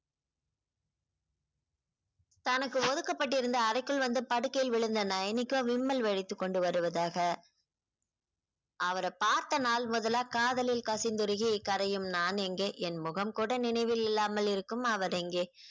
தனக்கு ஒதுக்கப்பட்டிருந்த அறைக்குள் வந்து படுக்கையில் விழுந்த நயனிக்கு விம்மல் வழித்துக் கொண்டு வருவதாக அவர பார்த்த நாள் முதலா காதலில் கசிந்துருகி கரையும் நான் எங்கே என் முகம் கூட நினைவில் இல்லாமல் இருக்கும் அவர் எங்கே